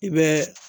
I bɛ